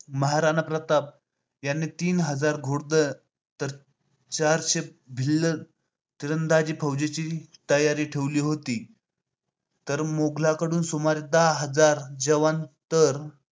महाराणा प्रताप यांनी तीन हजार घोडदळ तर चारशे भिल्ल तिरदाजी फोजेची तयारी ठेवली होती. तर मोगलांकडून सुमारे दहा हजार जवान तयार